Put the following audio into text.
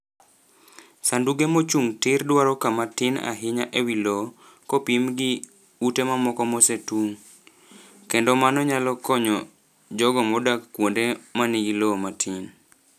Sanduge mochung' tir dwaro kama tin ahinya e wi lowo kopim gi ute mamoko mosetung', kendo mano nyalo konyo jogo modak kuonde ma nigi lowo matin.